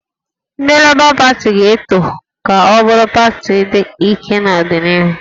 Ndị Lebọ Pati ga-eto ka ọ bụrụ pati dị ike n'ọdịnihu